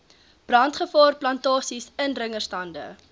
brandgevaar plantasies indringerstande